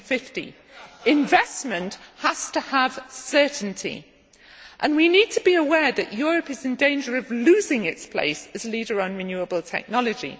2050. Investment has to have certainty, and we need to be aware that Europe is in danger of losing its place as leader on renewable technology.